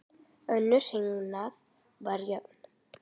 Önnur hrinan var jöfn.